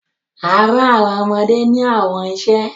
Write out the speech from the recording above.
a rán àwọn ọmọdé ní àwọn iṣẹ